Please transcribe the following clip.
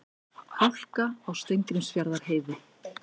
Hálka á Steingrímsfjarðarheiði